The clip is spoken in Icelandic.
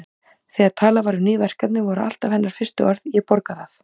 Þegar talað var um ný verkefni voru alltaf hennar fyrstu orð: Ég borga það